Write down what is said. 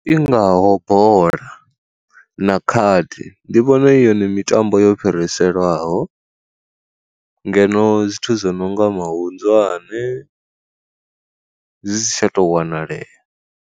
I ngaho bola na khadi ndi vhona i hone mitambo yo fhiriselwaho, ngeno zwithu zwo no nga mahunḓwane zwisi tsha to wanalea.